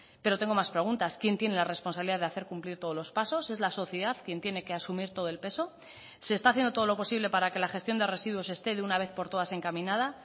pero tengo más preguntas quién tiene la responsabilidad de hacer cumplir todos los pasos es la sociedad quien tiene que asumir todo el peso se está haciendo todo lo posible para que la gestión de residuos esté de una vez por todas encaminada